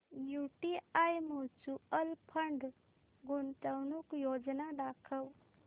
UTI mutual fund गुंतवणूक योजना दाखव